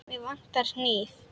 Mig vantar hníf.